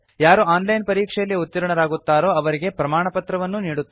ಯಾರು online ಪರೀಕ್ಷೆಯಲ್ಲಿ ಉತ್ತೀರ್ಣರಾಗುತ್ತಾರೋ ಅವರಿಗೆ ಪ್ರಮಾಣಪತ್ರವನ್ನೂ ನೀಡುತ್ತದೆ